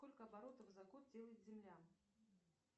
сколько оборотов за год делает земля